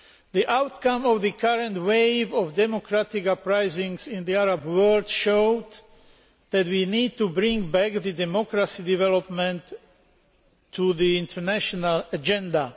The outcome of the current wave of democratic uprisings in the Arab world showed that we need to bring democracy development back to the international agenda.